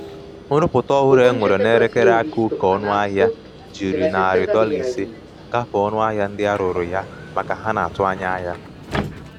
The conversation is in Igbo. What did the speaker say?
nrụpụta ọhụrụ e nwere n'elekere aka oke ọnụahịa ahụ jiri narị jiri narị dọla ise gafee ọnụahịa ndị a rụrụ ya maka ha na-atụ anya ya.